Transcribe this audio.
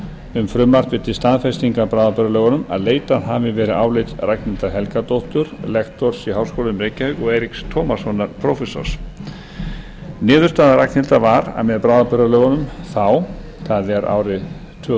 um frumvarpið til staðfestingar bráðabirgðalögunum að leitað hafi verið álits ragnhildar helgadóttur lektors í háskólanum í reykjavík og eiríks tómassonar prófessors niðurstaða ragnhildar var að með bráðabirgðalögunum þá það er árið tvö